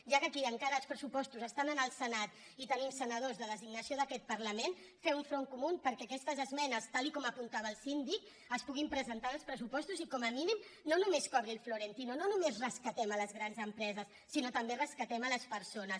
ja que aquí encara els pressupostos estan en el senat i tenim senadors de designació d’aquest parlament fer un front comú perquè aquestes esmenes tal com apuntava el síndic es puguin presentar en uns pressupostos i com a mínim no només cobri el florentino no només rescatem les grans empreses sinó que també rescatem les persones